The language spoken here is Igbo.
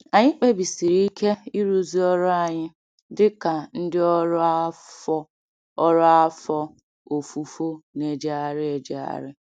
Anyị kpebisiri ike ịrụzu ọrụ anyị dị ka ndị ọrụ afọ ọrụ afọ ofufo na-ejegharị ejegharị.